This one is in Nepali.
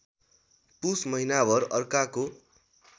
पुस महिनाभर अर्काको